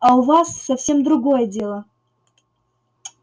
а у вас совсем другое дело